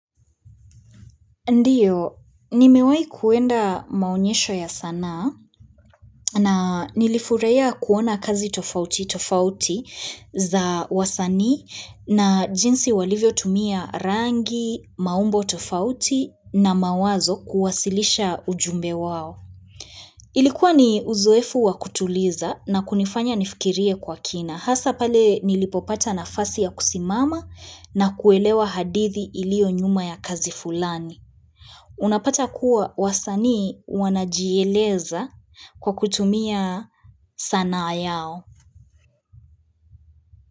Ndiyo, nimewai kuenda maonyesho ya sanaa na nilifurahia kuona kazi tofauti tofauti za wasani na jinsi walivyo tumia rangi, maumbo tofauti na mawazo kuwasilisha ujumbe wao. Ilikuwa ni uzoefu wa kutuliza na kunifanya nifikirie kwa kina. Hasa pale nilipopata nafasi ya kusimama na kuelewa hadithi ilio nyuma ya kazi fulani. Unapata kuwa wasanii wanajieleza kwa kutumia sanaa yao.